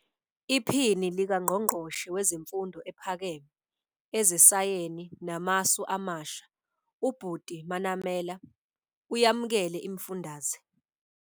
IPhini likaNgqongqoshe Wezemfundo Ephakeme, Ezesayeni Namasu Amasha, uButi Manamela, uyamukele imifundaze.